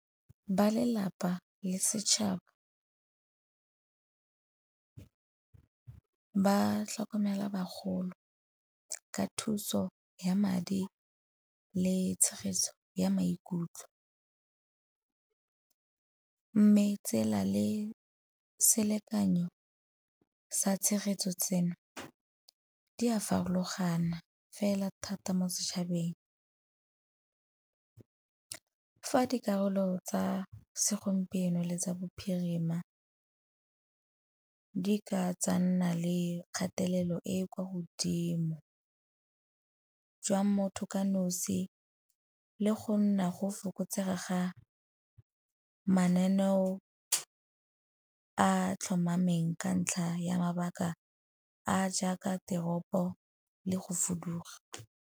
Ba lelapa le setšhaba ba tlhokomela bagolo ka thuso ya madi le tshegetso ya maikutlo. Mme tsela le selekanyo sa tshegetso tseno di a farologana fela thata mo setšhabeng. Fa dikarolo tsa segompieno le tsa bophirima di ka tsa nna le kgatelelo e kwa godimo jwa motho ka nosi le go nna go fokotsega ga mananeo a tlhomameng ka ntlha ya mabaka a jaaka teropo le go fuduga.